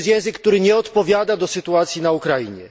I to jest język, który nie odpowiada sytuacji na Ukrainie.